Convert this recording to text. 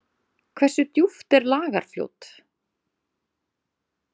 Hversu djúpt er Lagarfljót?